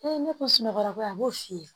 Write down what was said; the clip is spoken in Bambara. ne ko sunɔgɔ a b'o f'i ye